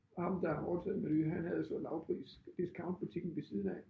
Ham der har overtaget Meny han havde så lavpris discountbutikken ved siden af